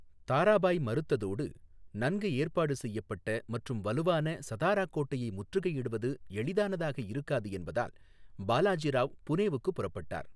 தாராபாய் மறுத்ததோடு, நன்கு ஏற்பாடு செய்யப்பட்ட மற்றும் வலுவான சதாரா கோட்டையை முற்றுகையிடுவது எளிதானதாக இருக்காது என்பதால், பாலாஜி ராவ் புனேவுக்கு புறப்பட்டார்.